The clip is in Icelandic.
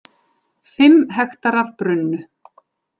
Fimm hektarar brunnu